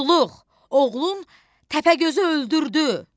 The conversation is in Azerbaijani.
Muştuluq, oğlun Təpəgözü öldürdü.